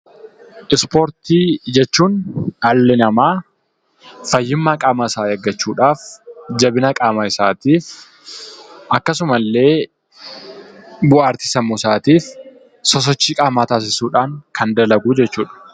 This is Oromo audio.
Ispoortii jechuun dhalli namaa fayyummaa qaama isaa eeggachuudhaaf, jabina qaama isaa eeggachuutiif akkasuma illee bohaartii sammuusaatiif sosochii qaamaa taasisuudhaan kan dalaguu jechuudha.